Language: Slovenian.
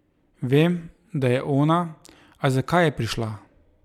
Vem, da je ona, a zakaj je prišla?